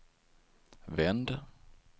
vänd